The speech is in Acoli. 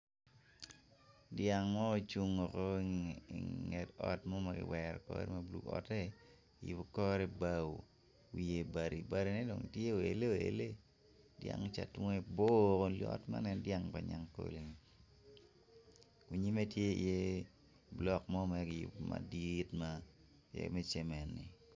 Dyang mo ocung i nget ot ma kiwero kore bulu kiyubo ki bao wiye bati batine tye oele oele dyang ca tunge bor dyang pa nyagkole i nyime the ki yubo ki bulok madit me cemen.